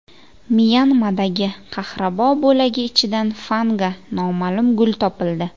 Myanmadagi qahrabo bo‘lagi ichidan fanga noma’lum gul topildi.